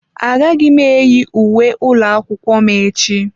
Agaghị m eyi uwe ụlọ akwụkwọ m echi.